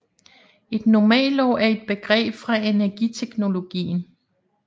Et normalår er et begreb fra energiteknologien